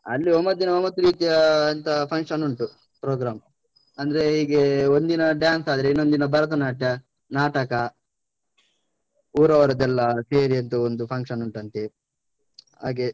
ಅಲ್ಲಿ ಒಂಬತ್ತ್ ದಿನ ಒಂಬತ್ತು ರೀತಿಯಾ ಎಂತ function ಉಂಟು program , ಅಂದ್ರೆ ಹೀಗೆ ಒಂದಿನ dance ಆದ್ರೆ, ಇನ್ನೊಂದಿನ ಭರತನಾಟ್ಯ, ನಾಟಕ. ಊರವ್ರ್ದೆಲ್ಲ ಕೇರಿಯದ್ದು ಒಂದು function ಉಂಟಂತೆ, ಹಾಗೆ.